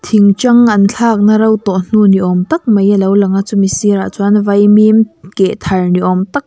thingṭang an thlakna ro tawh hnu ni awm tak mai a lo lang a chumi sirah chuan vaimim keh thar ni awm tak --